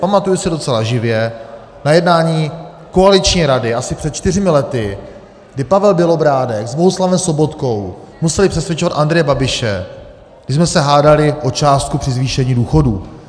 Pamatuju si docela živě na jednání koaliční rady asi před čtyřmi lety, kdy Pavel Bělobrádek s Bohuslavem Sobotkou museli přesvědčovat Andreje Babiše, když jsme se hádali o částku při zvýšení důchodů.